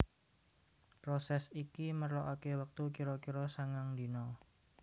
Prosès iki merlokaké wektu kira kira sangang dina